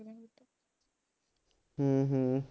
ਹਮ ਹਮ